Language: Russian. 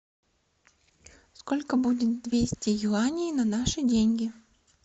сколько будет двести юаней на наши деньги